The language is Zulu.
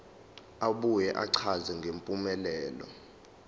abuye achaze ngempumelelo